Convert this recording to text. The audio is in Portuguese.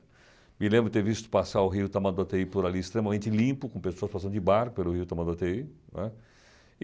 Me lembro de ter visto passar o rio Tamanduatei por ali, extremamente limpo, com pessoas passando de barco pelo rio Tamanduatei, né.